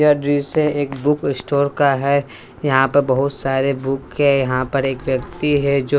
यह दृश्य एक बुक स्टोर का है यहां पे बहुत सारे बुक है यहां पर एक व्यक्ति है जो--